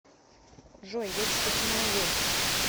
джой я тебе помогу